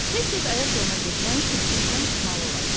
Tez-tez ayaq yoluna getmək üçün sinifdən çıxmalı olacam.